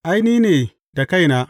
Ai, ni ne da kaina!